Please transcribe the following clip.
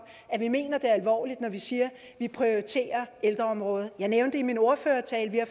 at vi mener det alvorligt når vi siger at vi prioriterer ældreområdet jeg nævnte i min ordførertale at